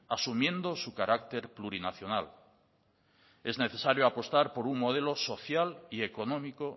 asumiendo su carácter plurinacional es necesario apostar por un modelo social y económico